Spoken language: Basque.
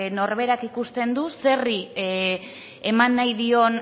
norberak ikusten du zerri eman nahi dion